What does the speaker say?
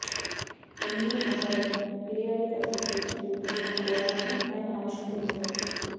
Indian Academy Periodic Association రూపొందించిన ఓ app ను ఆయన ఆవిష్కరించారు